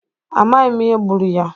Amaghị m ihe gbụrụ ya.